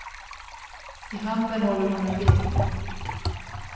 I handen håller hon en bild.